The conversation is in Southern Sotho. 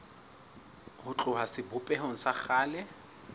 ho tloha sebopehong sa kgale